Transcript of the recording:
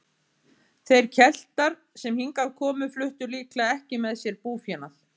Þeir Keltar sem hingað komu fluttu líklega ekki með sér búfénað.